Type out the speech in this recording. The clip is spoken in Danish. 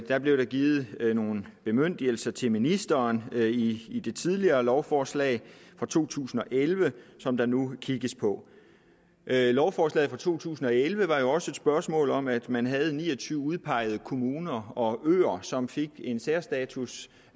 er blevet givet nogle bemyndigelser til ministeren i det tidligere lovforslag fra to tusind og elleve som der nu kigges på lovforslaget fra to tusind og elleve var også et spørgsmål om at man havde ni og tyve udpegede kommuner og øer som fik en særstatus